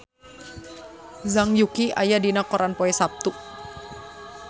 Zhang Yuqi aya dina koran poe Saptu